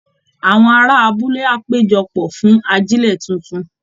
Àwọn ará abúlé á péjọ pọ̀ fún ajílẹ̀ tuntun